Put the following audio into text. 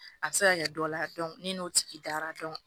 A bɛ se ka kɛ dɔ la ne n'o tigi dara